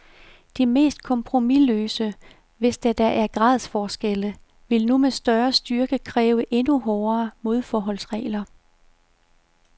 De mest kompromisløse, hvis der da er gradsforskelle, vil nu med større styrke kræve endnu hårdere modforholdsregler.